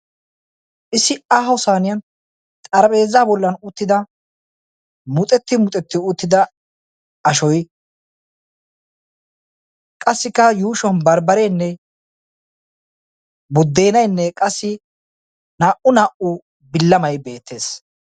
Issi aaho saynniyan xaraphphezza bollan uttidda ashuwassi matan bambbare buddeenaynne naa'u bilamay beetees.